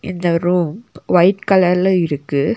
இந்த room white கலர்ல இருக்கு.